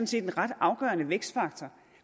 set en ret afgørende vækstfaktor